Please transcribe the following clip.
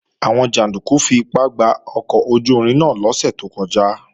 Àwọn jàndúkú fipá gba ọkọ̀ ojú-irin náà lọ́sẹ̀ tó kọjá